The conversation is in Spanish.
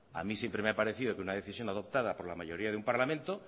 a mí siempre me ha parecido que una decisión adoptada por la mayoría de un parlamento